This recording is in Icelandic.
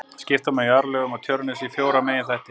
Skipta má jarðlögum á Tjörnesi í fjóra meginþætti.